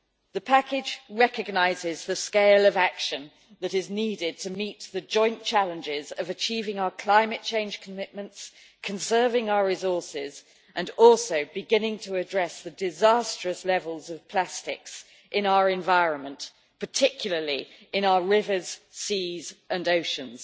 The package recognises the scale of action that is needed to meet the joint challenges of achieving our climate change commitments, conserving our resources, and also beginning to address the disastrous levels of plastics in our environment, particularly in our rivers, seas and oceans.